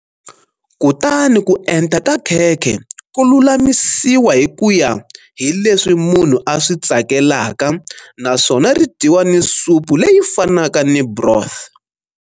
Kutani ku enta ka khekhe ku lulamisiwa hi ku ya hi leswi munhu a swi tsakelaka naswona ri dyiwa ni supu leyi fanaka ni broth.